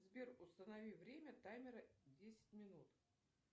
сбер установи время таймера десять минут